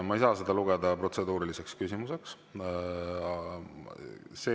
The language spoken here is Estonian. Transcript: Ma ei saa seda lugeda protseduuriliseks küsimuseks.